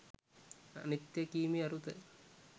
අනිත්‍යය කීමෙහි අරුත